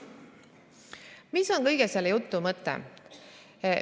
Mis on kogu selle jutu mõte?